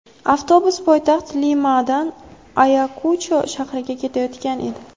Avtobus poytaxt Limadan Ayakucho shahriga ketayotgan edi.